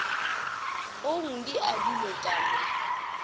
ong di adilwe ka mo